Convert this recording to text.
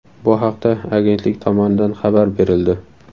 Bu haqda agentlik tomonidan xabar berildi .